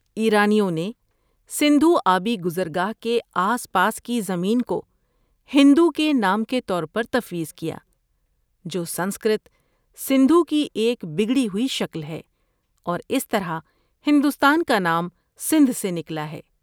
ایرانیوں نے سندھو آبی گزرگاہ کے آس پاس کی زمین کو ہندو کا نام طور پر تفویض کیا، جو سنسکرت سندھو کی ایک بگڑی ہوئی شکل اور اس طرح ہندوستان کا نام سندھ سے نکلا ہے۔